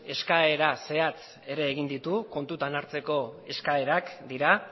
eskaera zehatz egin ditu kontutan hartzeko eskaerak dira